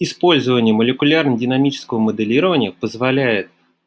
использование молекулярно динамического моделирования позволяет